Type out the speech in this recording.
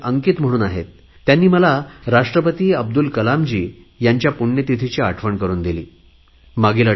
अंकित या तरुणाने मला माजी राष्ट्रपती अब्दुल कलामजी यांच्या पुण्यतिथीचे स्मरण करुन दिले आहे